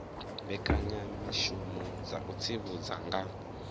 mbekanyamishumo dza u tsivhudza nga